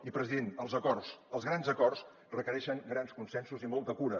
i president els acords els grans acords requereixen grans consensos i molta cura